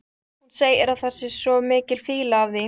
Hún segir að það sé svo mikil fýla af því.